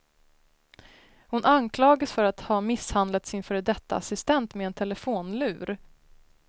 Hon anklagas för att ha misshandlat sin före detta assistent med en telefonlur.